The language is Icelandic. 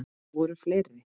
Voru fleiri?